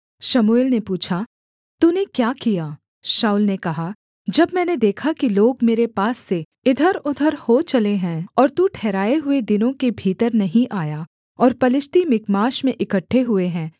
शमूएल ने पूछा तूने क्या किया शाऊल ने कहा जब मैंने देखा कि लोग मेरे पास से इधरउधर हो चले हैं और तू ठहराए हुए दिनों के भीतर नहीं आया और पलिश्ती मिकमाश में इकट्ठे हुए हैं